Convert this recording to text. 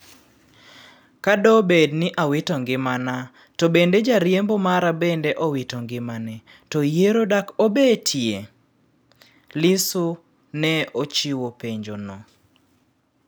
"Ka do bed ni awito ngimana to bende jariembo mara bende owito ngimane to yiero dak obetie?" Lissu ne ochiwo penjo no